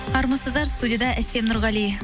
армысыздар студияда әсем нұрғали